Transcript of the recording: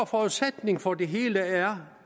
forudsætning for det hele er